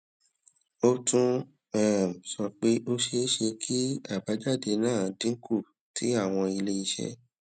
ó tún um sọ pé ó ṣeé ṣe kí àbájáde náà dín kù tí àwọn ilé iṣẹ